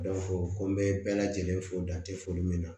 ko n bɛ bɛɛ lajɛlen fo dan te foli min na